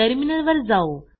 टर्मिनलवर जाऊ